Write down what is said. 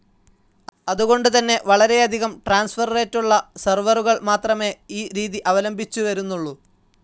അതുകൊണ്ട് തന്നെ വളരെയധികം ട്രാൻസ്ഫർ റേറ്റുള്ള സെർവറുകൾ മാത്രമെ ഈ രീതി അവലംബിച്ചു വരുന്നുള്ളു.